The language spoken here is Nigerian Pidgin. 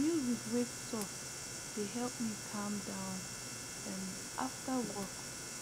music wey soft dey help me calm down um after work